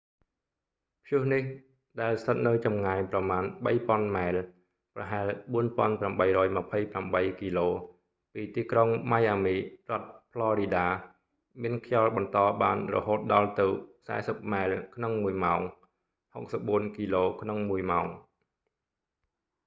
ព្យុះនេះ ដែលស្ថិតនៅចម្ងាយប្រមាណ 3,000 ម៉ែល ប្រហែល 4828 គីឡូ ពីទីក្រុងម៉ៃអាមី រដ្ឋផ្លរីដា មានខ្យល់បន្តបានរហូតដល់ទៅ 40 ម៉ែលក្នុងមួយម៉ោង 64 គីឡូក្នុងមួយម៉ោង